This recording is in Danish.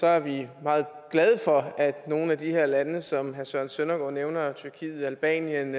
er vi meget glade for at nogle af de her lande som herre søren søndergaard nævner tyrkiet albanien